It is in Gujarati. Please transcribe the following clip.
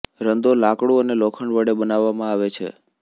રંદો લાકડું અને લોખંડ વડે બનાવવામાં આવે છે